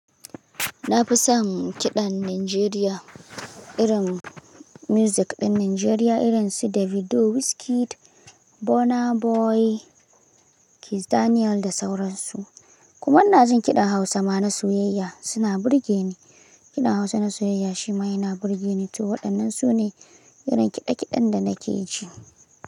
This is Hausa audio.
Na fi son kiɗan Nijeriya, irin music ɗin Nijeriya irin su Davido, Wizkid, Burna Boy, Kizz Daniel da sauran su. Kuma na jin kiɗan Hausa ma na soyayya, suna burge ni. Kiɗan Hausa na soyayya shi ma yana burge ni to. Waɗannan su ne irin kiɗe-kiɗen da na ke ji.